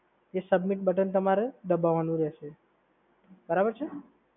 એ submit button તમારે દબાવવાનું રહેશે સર, બરાબર છે?